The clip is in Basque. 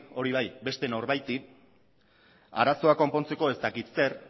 hori bai beste norbaiti arazoa konpontzeko ez dakit zer